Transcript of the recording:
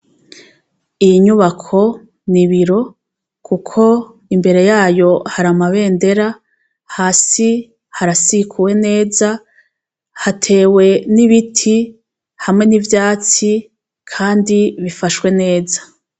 Iyi nyubako ni biro, kuko imbere yayo haramabendera hasi harasikuwe neza hatewe n'ibiti hamwe n'ivyatsi, kandi bifashwe neza.